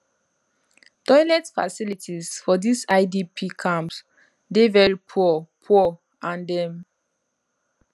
toilet facilities for dis idp camps dey very poor poor and dem